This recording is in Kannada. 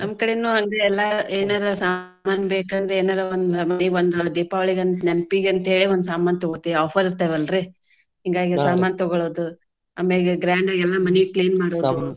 ನಮ್ಮ ಕಡೆನು ಹಂಗೆ ಎಲ್ಲಾ ಏನಾರಾ ಸಾಮಾನ್ ಬೇಕಂದ್ರೆ ಏನಾರಾ ಒಂದ್ ಮನಿಗೊಂದ ದೀಪಾವಳಿಗಂತ ನೆನ್ಪಿಗಂತ ಹೇಳೆ ಒಂದ್ ಸಾಮಾನ ತಗೋತೇವೆ offer ಇರ್ತಾವ ಅಲ್ರಿ, ಹಿಂಗಾಗೆ ತಗೊಳೋದು, ಆಮ್ಯಾಗೆ grand ಆಗಿ ಎಲ್ಲಾ ಮನಿ clean .